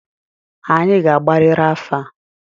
Anyị ga-agbariri afa!